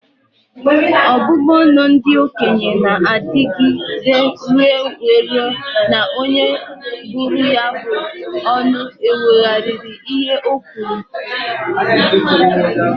Obubu ọnụ ndị okenye n'adịgide ire wee rue na onye bụrụ ya bụ ọnụ ekwugharịa ihe o kwuru